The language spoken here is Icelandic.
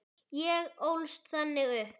Ég ólst þannig upp.